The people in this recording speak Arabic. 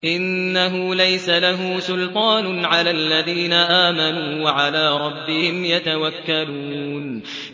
إِنَّهُ لَيْسَ لَهُ سُلْطَانٌ عَلَى الَّذِينَ آمَنُوا وَعَلَىٰ رَبِّهِمْ يَتَوَكَّلُونَ